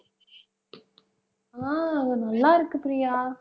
ஆஹ் நல்லா இருக்கு பிரியா.